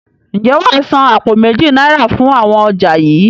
Ǹjẹ́ wàá san àpò méjì náírà fún àwọn ọjà yii?